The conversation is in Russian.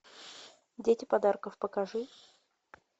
дети подарков покажи